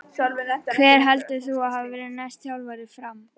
Hver heldur þú að verði næsti þjálfari FRAM?